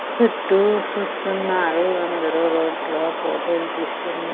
సుట్టూ సూస్తున్నారు అందరూ రోడ్లో ఫోటోలు తీస్తున్నా--